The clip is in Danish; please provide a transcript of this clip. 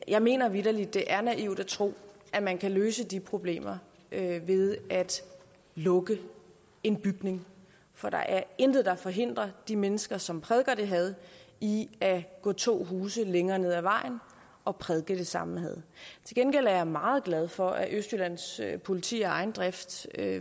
jeg mener vitterlig det er naivt at tro at man kan løse de problemer ved at lukke en bygning for der er intet der forhindrer de mennesker som prædiker det had i at gå to huse længere ned ad vejen og prædike det samme had til gengæld er jeg meget glad for at østjyllands politi af egen drift